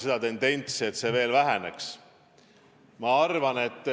See tarbimine peab veel vähenema.